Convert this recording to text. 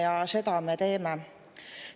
Ja seda me teeme.